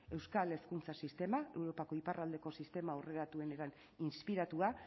euskal hezkuntza sistemak europako iparraldeko sistema aurreratuenetan inspiratua